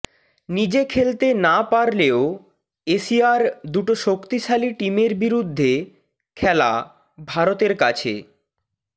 নিজে খেলতে না পারলেও এশিয়ার দুটো শক্তিশালী টিমের বিরুদ্ধে খেলা ভারতের কাছে